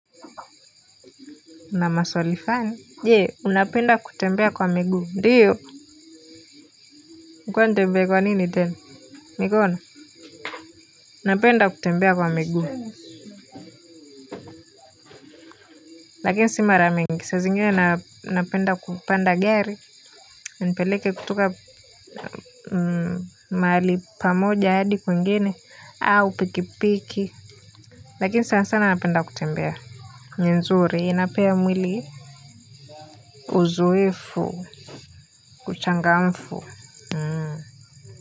Una maswali funny. Jee unapenda kutembea kwa miguu ndiyo ilikuwa nitembee kwa nini tena mikono unapenda kutembea kwa miguu lakini si mara mingi sa zingine napenda kupanda gari inipeleke kutoka mahali pamoja hadi kwingine au pikipiki lakini sana sana napenda kutembea ni nzuri inapea mwili uzoefu uchangamfu. Kwa hivyo.